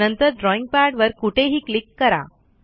नंतर ड्रॉईंग पॅडवर कुठेही क्लिक करा